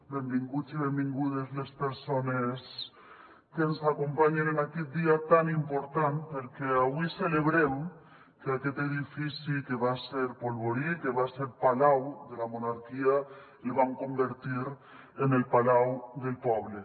benvinguts i benvingudes les persones que ens acompanyen en aquest dia tan important perquè avui celebrem que aquest edifici que va ser polvorí que va ser palau de la monarquia el vam convertir en el palau del poble